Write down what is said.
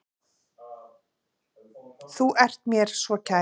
Þú sem ert mér svo kær.